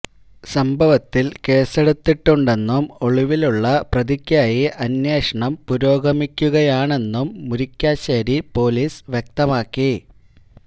സംഭവത്തില് കേസെടുത്തിട്ടുണ്ടെന്നും ഒളിവിലുള്ള പ്രതിക്കായി അന്വേഷണം പുരോഗമിക്കുകയാണെന്നും മുരിക്കാശേരി പോലീസ് വ്യക്തമാക്കി